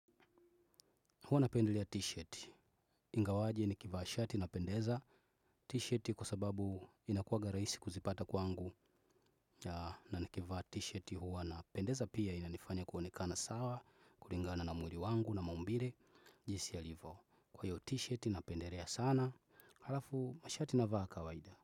Huwa napendelea t-shirt, ingawaje nikivaa shati napendeza t-shirt kwa sababu inakuwanga rahisi kuzipata kwangu na nikivaa t-shirt huwa napendeza pia inanifanya kuonekana sawa, kulingana na mwili wangu na maumbile, jinsi yalivyo. Kwa hiyo t-shirt napendelea sana, alafu mashati navaa kawaida.